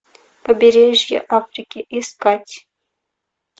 побережье африки искать